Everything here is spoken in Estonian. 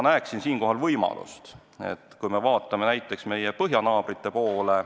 Vaadakem näiteks meie põhjanaabrite poole.